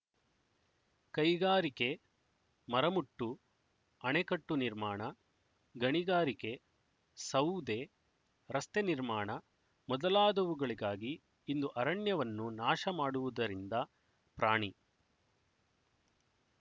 ಕೈಗಾರಿಕೆ ಮರಮುಟ್ಟು ಅಣೆಕಟ್ಟು ನಿರ್ಮಾಣ ಗಣಿಗಾರಿಕೆ ಸೌದೆ ರಸ್ತೆ ನಿರ್ಮಾಣ ಮೊದಲಾದವುಗಳಿಗಾಗಿ ಇಂದು ಅರಣ್ಯವನ್ನು ನಾಶ ಮಾಡುವುದರಿಂದ ಪ್ರಾಣಿ